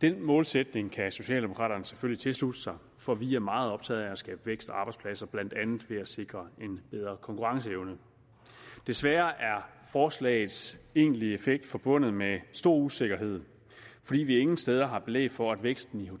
den målsætning kan socialdemokraterne selvfølgelig tilslutte sig for vi er meget optaget af at skabe vækst og arbejdspladser ved blandt andet at sikre en bedre konkurrenceevne desværre er forslagets egentlige effekt forbundet med stor usikkerhed fordi vi ingen steder har belæg for at væksten i